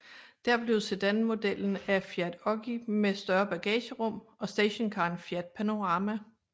Der blev sedanmodellen Fiat Oggi med større bagagerum og stationcaren Fiat Panorama